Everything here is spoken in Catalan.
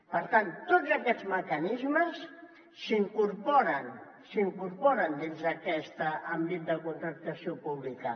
per tant tots aquests mecanismes s’incorporen dins d’aquest àmbit de contractació pública